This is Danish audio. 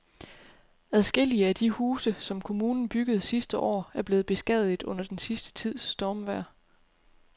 Adskillige af de huse, som kommunen byggede sidste år, er blevet beskadiget under den sidste tids stormvejr.